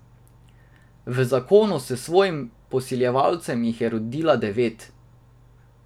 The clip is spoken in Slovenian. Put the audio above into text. V zakonu s svojim posiljevalcem jih je rodila devet.